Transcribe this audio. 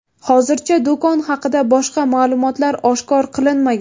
Hozircha, do‘kon haqida boshqa ma’lumotlar oshkor qilinmagan.